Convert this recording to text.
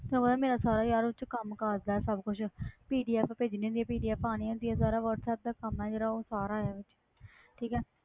ਤੈਨੂੰ ਪਤਾ ਹੈ ਮੇਰਾ ਸਾਰਾ ਯਾਰ ਉਹ 'ਚ ਕੰਮ ਕਾਜ ਹੈ ਸਭ ਕੁਛ PDF ਭੇਜਣੀ ਹੁੰਦੀ ਹੈ PDF ਆਉਣੀ ਹੁੰਦੀ ਹੈ ਸਾਰਾ ਵਾਟਸੈਪ ਦਾ ਕੰਮ ਹੈ ਜਿਹੜਾ ਉਹ ਸਾਰਾ ਇਹਦੇ 'ਚ ਠੀਕ ਹੈ।